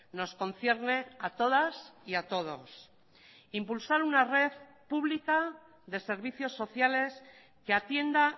nos concierne a todas y a todos impulsar una red pública de servicios sociales que atienda